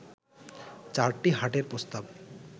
চারটি হাটের প্রস্তাব